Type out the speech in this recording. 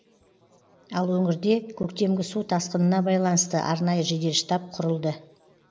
ал өңірде көктемгі су тасқынына байланысты арнайы жедел штаб құрылды